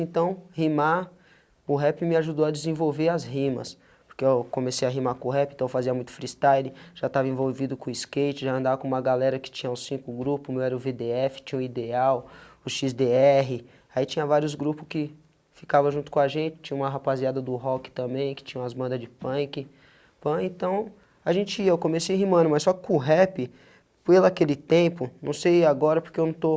Então, rimar o rap me ajudou a desenvolver as rimas, porque eu comecei a rimar com o rap, então eu fazia muito freestyle, já estava envolvido com o skate, já andava com uma galera que tinha uns cinco grupo, meu era o vê dê efe, tinha o ideal, o xis dê erre, aí tinha vários grupos que ficavam junto com a gente, tinha uma rapaziada do rock também, que tinham as mandas de punk,(pã) então a gente ia, eu comecei rimando, mas só com o rap, pela aquele tempo, não sei agora porque eu não estou